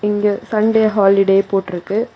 இங்க Sunday holiday போட்ருக்கு.